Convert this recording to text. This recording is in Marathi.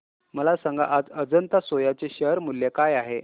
मला सांगा आज अजंता सोया चे शेअर मूल्य काय आहे